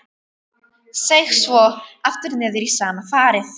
Seig svo aftur niður í sama farið.